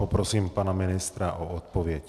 Poprosím pana ministra o odpověď.